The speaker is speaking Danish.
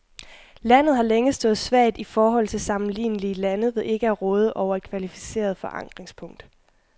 Landet har længe stået svagt i forhold til sammenlignelige lande ved ikke at råde over et kvalificeret forankringspunkt.